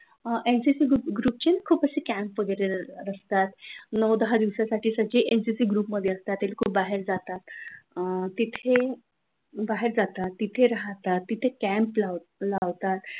MPSC group ची खूप अशे सारे कॅम्प वगैरे असतात, नऊ दहा दिवसासाठी आगळे एमपीएससी ग्रुप मध्ये असतात ते लोक बाहेर जातात तिथे बाहेर जातात तिथे राहतात तिथे कॅम्प लावतात,